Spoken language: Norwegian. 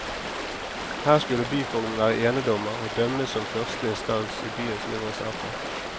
Her skulle byfogden være enedommmer og dømme som første instans i byens mindre saker.